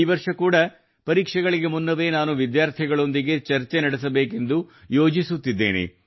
ಈ ವರ್ಷ ಕೂಡಾ ಪರೀಕ್ಷೆಗಳಿಗೆ ಮುನ್ನವೇ ನಾನು ವಿದ್ಯಾರ್ಥಿಗಳೊಂದಿಗೆ ಚರ್ಚೆ ನಡೆಸಬೇಕೆಂದು ಯೋಜಿಸುತ್ತಿದ್ದೇನೆ